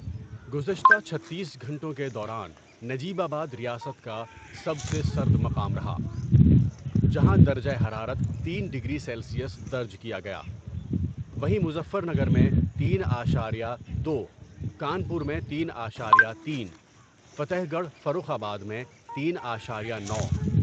گزشتہ چھتیس گھنٹوں کے دوران نجیب آبا دریاست کا سب سے سرد مقام رہا ، جہاں درجہ حرارت تین ڈگری سیلسیس درج کیا گیا ، وہیں مظفر نگر میں تین اشاریہ دو ، کانپور میں تین اعشاریہ تین ، فتح گڑھ فروخ آباد میں تین اعشاریہ نو ۔